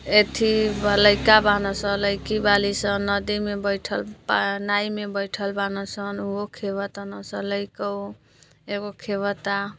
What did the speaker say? इथी लईका बाना स लईकी बानी स नदी में बइठल बा नायी में बइठल बना सं उहो खेवतानस स लाइको एगो खेवता --